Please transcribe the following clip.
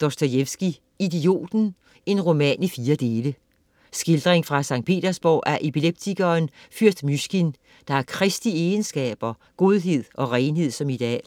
Dostojevskij, F. M.: Idioten: en roman i fire dele Skildring fra Skt. Petersborg af epileptikeren fyrst Mysjkin, der har Kristi egenskaber, godhed og renhed, som ideal.